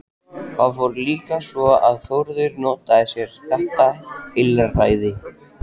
Það fór líka svo að Þórður notaði sér þetta heilræði.